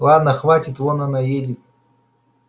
ладно хватит вон она едет